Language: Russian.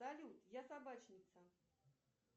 салют я собачница